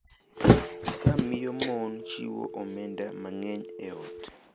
Ka miyo mon chiwo omenda mang’eny e ot.